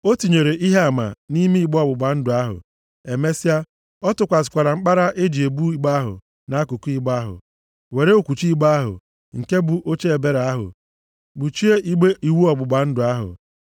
O tinyere Ihe Ama nʼime igbe ọgbụgba ndụ ahụ. Emesịa, ọ tụkwasịkwara mkpara e ji ebu igbe ahụ nʼakụkụ igbe ahụ, were okwuchi igbe ahụ, nke bụ Oche Ebere ahụ, kpuchie igbe iwu ọgbụgba ndụ ahụ.